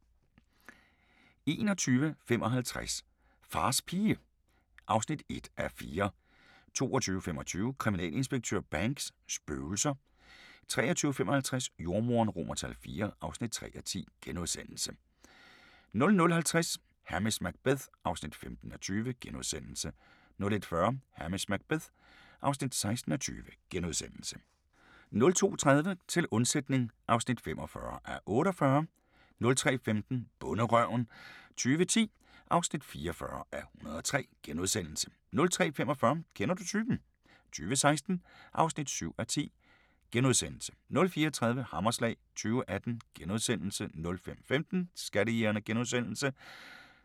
21:55: Fars pige (1:4) 22:25: Kriminalinspektør Banks: Spøgelser 23:55: Jordemoderen IV (3:10)* 00:50: Hamish Macbeth (15:20)* 01:40: Hamish Macbeth (16:20)* 02:30: Til undsætning (45:48) 03:15: Bonderøven 2010 (44:103)* 03:45: Kender du typen? 2016 (7:10)* 04:30: Hammerslag 2018 * 05:15: Skattejægerne *